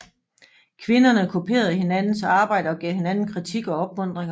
Kvinderne kopierede hinandens arbejder og gav hinanden kritik og opmuntringer